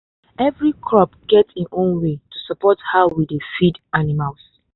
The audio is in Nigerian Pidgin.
every crop get im own way to support how we dey feed animals.